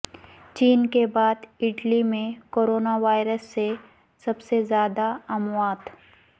چین کے بعد اٹلی میں کرونا وائرس سے سب سے زیادہ اموات